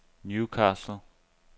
Newcastle